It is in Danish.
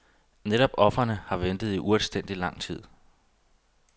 Netop ofrene har ventet i uanstændigt lang tid.